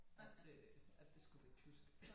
At øh at det skulle være tysk